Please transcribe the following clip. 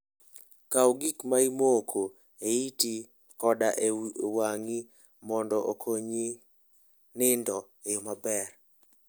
Kaw gik ma imoko e iti koda e wang'i mondo okonyi nindo e yo maber.